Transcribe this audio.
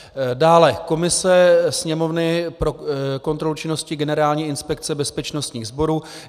Dále komise Sněmovny pro kontrolu činnosti Generální inspekce bezpečnostních sborů.